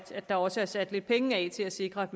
der også er sat lidt penge af til at sikre at